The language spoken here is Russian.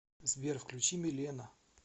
сбер включи милена